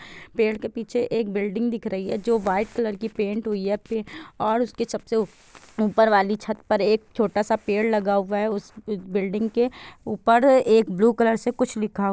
पेड़ के पीछे एक बिल्डिंग दिख रही है जो वाइट कलर की पेंट हुई है और सबसे ऊपर वाली छत पर एक छोटा सा पेड़ लगा हुआ है उस बिल्डिंग के ऊपर एक ब्लू कलर से कुछ लिखा हुआ--